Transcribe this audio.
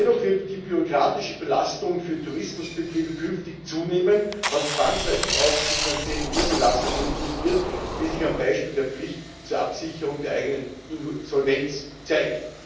Dennoch wird die bürokratische Belastung für Tourismusbetriebe künftig zunehmen, was zwangsläufig auch zu finanziellen Mehrbelastungen führen wird, wie sich am Beispiel der Pflicht zur Absicherung der eigenen Insolvenz zeigt.